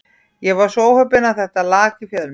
Ég var svo óheppinn að þetta lak í fjölmiðla.